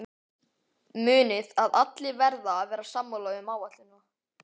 Munið að allir verða að vera sammála um áætlunina.